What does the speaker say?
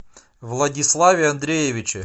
владиславе андреевиче